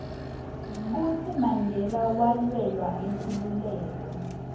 kutsi mandela walwela inkhululeko